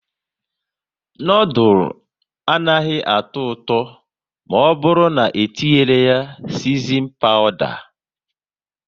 Noodules anaghị atọ ụtọ maọburu n'etinyi ya sisinin pawda